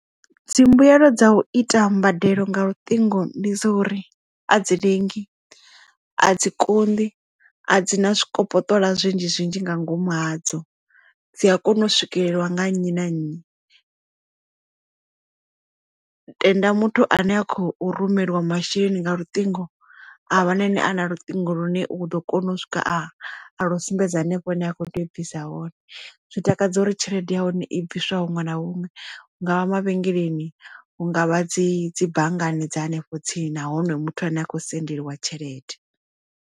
Dzimbuelo dza u ita mbadelo nga luṱingo ndi dza uri a dzi lengi a dzi konḓi a dzi na zwikopoṱola zwinzhi zwinzhi nga ngomu ha dzo dzi a kona u swikelelwa nga nnyi na nnyi. Tenda muthu ane a khou rumeliwa masheleni nga luṱingo a wana ene a na luṱingo lune u ḓo kona u swika a a lu sumbedza hanefho hune a khou tea u bvisa hone zwi takadza uri tshelede ya hone i bviswa huṅwe na huṅwe hungavha mavhengeleni hu ngavha dzi dzi banngani dza hanefho tsini nahone muthu ane a kho sendeliwa tshelede.